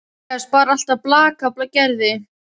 Karitas bar alltaf blak af Gerði.